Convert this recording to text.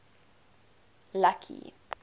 lucky